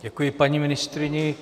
Děkuji paní ministryni.